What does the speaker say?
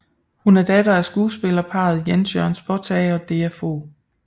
Hun er datter af skuespillerparret Jens Jørn Spottag og Dea Fog